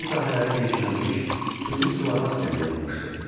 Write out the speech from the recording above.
Əkin sahələri genişlənmiş, süni suvarma sistemi yaranmışdı.